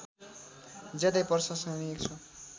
ज्यादै प्रशंसनीय छ